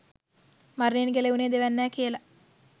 මරණයෙන් ගැලවුණේ දෙවැන්නා කියල.